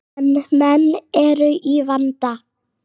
En menn eru í vanda.